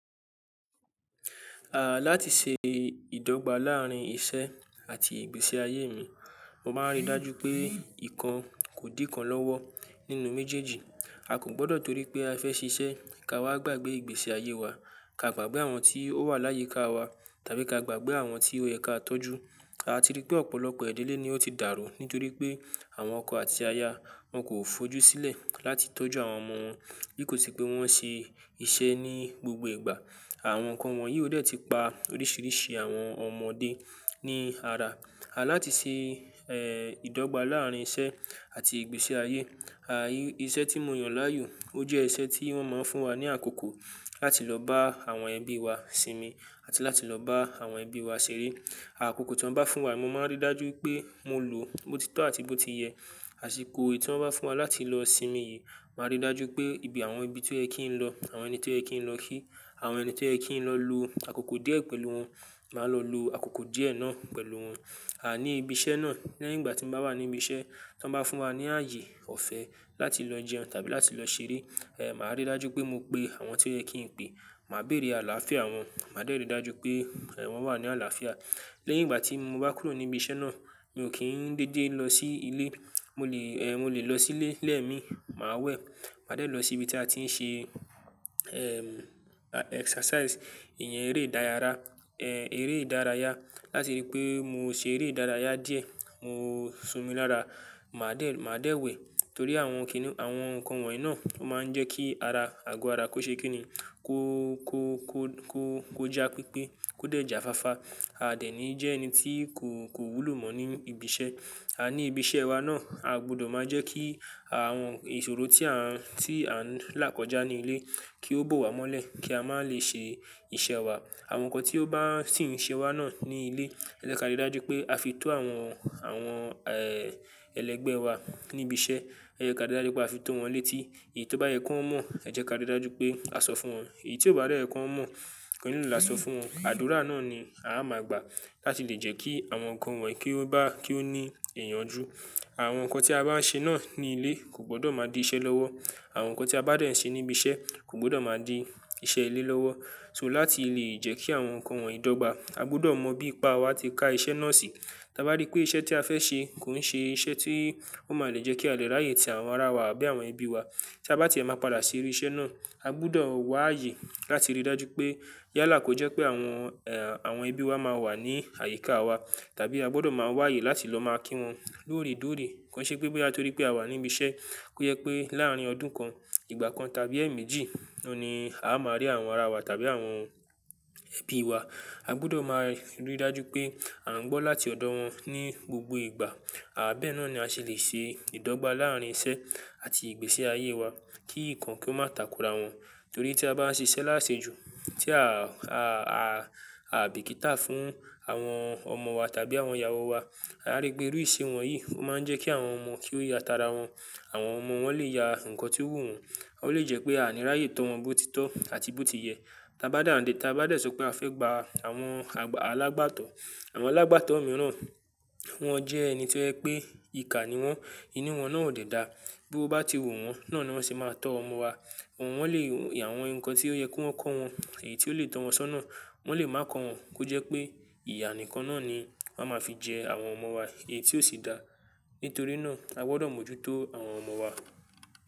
À láti ṣe ìdọ́gba láàárín iṣẹ́ àti ìgbésí ayé mi, mo máa ń rí dájú pé ìkan kò dín kan lọ́wọ́ nínú méjèèjì. A kò gbọdọ̀ torí pé a fẹ́ ṣiṣẹ́ ká wá gbàgbé ìgbésí ayé wa. Ka gbàgbé àwọn tí ó wà láyé ká wa tàbí ka gbàgbé àwọn tí ó yẹ ká tọ́jú. A ti rí pé ọ̀pọ̀lọpọ̀ èdèlé ni ó ti dàrú nítorí pé àwọn ọkọ àti aya wọn kò fojú sílẹ̀ láti tọ́jú àwọn ọmọ wọn. Bí kò sì pé wọ́n ṣe iṣẹ́ ní gbogbo ìgbà, àwọn nǹkan wọ̀nyí ó dẹ́ẹ̀tì pa oríṣìíríṣìí àwọn ọmọdé ní ara. À láti ṣe è ìdọ́gba láàárín iṣẹ́ àti ìgbésí ayé, à iṣẹ́ tí mo yàn láàyò ó jẹ́ iṣẹ́ tí wọ́n máa ń fún wa ní àkókò láti lọ bá àwọn ẹbí wa sinmi àti láti lọ bá àwọn ẹbí wa ṣeré. Àkókò tí wọ́n bá fún wa yìí mo máa ń rí dájú pé mo lò bó ti tọ́ àti bó ti yẹ. Àṣìkò è tí wọ́n bá fún wa láti lọ sinmi yìí, màá rí dájú pé ibi àwọn ibi tí ó yẹ kí n lọ, àwọn ẹni tí ó yẹ kí n lọ kí, àwọn ẹni tí ó yẹ kí n lọ lo àkókò díẹ̀ pẹ̀lú wọn, màá lọ lo àkókò díẹ̀ náà pẹ̀lú wọn. À ní ibi iṣẹ́ náà, léyìn ìgbà tí mo bá wà níbi iṣẹ́, tí wọ́n bá fún wa ní ààyè ọ̀fẹ́ láti lọ jẹun tàbí láti lọ ṣeré, è màá rí dájú pé mo pe àwọn tí ó yẹ kí n pe. Màá bèrè àlàáfíà wọn, màá dẹ́ẹ̀rẹ́ dájú pé è wọ́n wà ní àlàáfíà. Léyìn ìgbà tí mo bá kúrò ní ibi iṣẹ́ náà, mi ò kí ń dédé lọ sí ilé. Mo lè è mo lè lọ sílé lẹ́ẹ̀mi, màá wẹ̀, màá dẹ́ẹ̀ lọ sí ibi tí a ti ń ṣe èm exercise, ìyẹn eré ìdárayá, è eré ìdárayá. Láti rí pé mo ṣe eré ìdárayá díẹ̀, mo sùn mi lára, màá dẹ́ẹ̀ màá dẹ́ẹ̀ wẹ̀ torí àwọn kíni àwọn nǹkan wọ̀nyí náà ó máa ń jẹ́ kí ara, àgọ́ ara kó ṣe kí ni kó, kó, kó, kó, kó já pípé, kó dẹ̀ já fáfá. A dẹ̀ ní jẹ́ ẹni tí kò, kò wúlò mọ́ ní ibi iṣẹ́. A ní ibi iṣẹ́ wa náà, a gbọdọ̀ máa jẹ́ kí àwọn ìṣòro tí à ń, tí à ń là kọjá ní ilé kí ó bọ̀ wá mọ́lẹ̀ kí a má lè ṣe iṣẹ́ wa. Àwọn nǹkan tí ó bá sì ń ṣe wá náà ní ilé, ẹ jẹ́ ká rí dájú pé a fi tó àwọn, àwọn è ẹlẹ́gbẹ́ wa ní ibi iṣẹ́. Ẹ jẹ́ ká rí dájú pé a fi tó wọn létí. Èyí tó bá yẹ kí wọ́n mọ̀, ẹ jẹ́ ká rí dájú pé a sọ fún wọn. Èyí tí ò bá de yẹ kí wọ́n mọ̀ ko nilo làá sọ fún wọn. Àdúrà náà ni a máa gbà láti lè jẹ́ kí àwọn nǹkan wọ̀nyí kí ó bá kí ó ní ìyanjú. Àwọn nǹkan tí a bá ń ṣe náà ní ilé kò gbọdọ̀ máa di iṣẹ́ lọ́wọ́. Àwọn nǹkan tí a bá dẹ̀ ń ṣe ní ibi iṣẹ́ kò gbọdọ̀ máa di iṣẹ́ ilé lọ́wọ́. So láti lè jẹ́ kí àwọn nǹkan wọ̀nyí dọ́gba, a gbọdọ̀ mọ bí pa wa ti ka iṣẹ́ náà sí. Tí a bá rí pé iṣẹ́ tí a fẹ́ ṣe kò ń ṣe iṣẹ́ tí ó máa lè jẹ́ kí a lè ráyè tì àwọn ara wa àbí àwọn ẹbí wa. Tí a bá tiẹ̀ máa padà sí orí iṣẹ́ náà, a gbọdọ̀ wá ààyè láti rí dájú pé yálà kò jẹ́ pé àwọn è àwọn ẹbí wa máa wà ní àyíká wa tàbí a gbọdọ̀ máa wá ààyè láti lọ máa kí wọn lóòrè tóòrè. Kò ṣe pé bóyá torí pé a wà níbi iṣẹ́ kó yẹ pé láàárín ọdún kan, ìgbà kan tàbí ẹ̀ẹ̀mẹ́jì ló ni a máa rí àwọn ara wa tàbí àwọn ẹbí wa. A gbọdọ̀ máa rí dájú pé à ń gbọ́ láti ọ̀dọ̀ wọn ní gbogbo ìgbà. À bá ẹ̀ náà ni a ṣe lè ṣe ìdọ́gba láàárín iṣẹ́ àti ìgbésí ayé wa kí nǹkan kí ó má takura wọn. Torí tí a bá ń ṣe iṣẹ́ láṣẹ ju, tí a, a, a, a bìkítà fún àwọn ọmọ wa tàbí àwọn ìyàwó wa, a rí pé iru ise wọn yìí ó máa ń jẹ́ kí àwọn ọmọ kí ó ya tara wọn. Àwọn ọmọ wọ́n lè ya nǹkan tí ó wù wọ́n, ó lè jẹ́ pé a ní ráyè tọ́ wọn bó ti tọ́ àti bó ti yẹ. Tí a bá dàǹdè, tí a bá dẹ̀ sọ pé a fẹ́ gba àwọn àgbà alágbàtọ́, àwọn alágbàtọ́ mìíràn wọ́n jẹ́ ẹni tí ẹ pé ìkà ni wọ́n, inú wọn náà ò dẹ́ da. Bí o bá ti wu wọ́n náà ni wọ́n ṣe máa tọ́ ọmọ wa. Wọn wọ́n lè ya àwọn nǹkan tí ó yẹ kó ń kọ wọn, èyí tí ó lè tọ́ wọn sọ́nà wọ́n lè máa kọ wọn kó jẹ́ pé ìyà nìkan náà ni a máa fi jẹ àwọn ọmọ wa èyí tí ó sì dáa. Nítorí náà a gbọdọ̀ mójútó àwọn ọmọ wa.